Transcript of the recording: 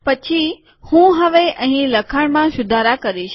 પછી હું હવે અહીં લખાણમાં સુધારા કરીશ